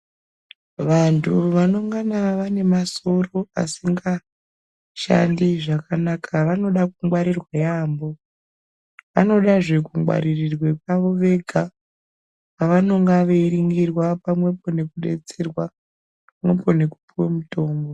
Vanthu vanongana vane masoro asingashandi zvakanaka vanoda kungwaririrwa yaambo vanodazve kungwatirirwa pavo vega pavanenge veiningirwa pamwepo nekudetserwa pamwepo nekupuwe mutombo.